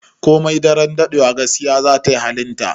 Komai daren daɗewa, gaskiya za ta yi halinta.